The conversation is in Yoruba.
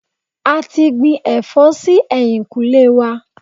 A ti gbin ẹ̀fọ́ sí ẹ̀yìnkùlé wa.